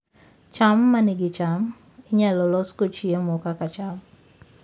cham ma nigi cham inyalo losgo chiemo kaka cham